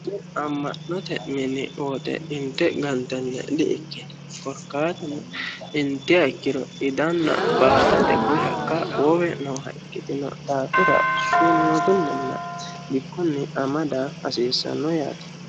tini amma'note mini woxe inte gantanniha dikkino korkaatuno idanna koye hakka baatate wowe nooha ikkitino daafira sunuutunninna bikkunni amada hadiissanno yaate